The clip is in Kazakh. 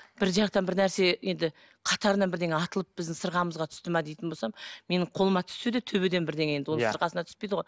бір жақтан бір нәрсе енді қатарынан бірдеңе атылып біздің сырғамызға түсті ме дейтін болсам менің қолыма түссе де төбеден бірдеңе енді оның сырғасына түспейді ғой